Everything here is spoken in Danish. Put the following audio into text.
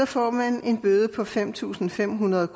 får man en bøde på fem tusind fem hundrede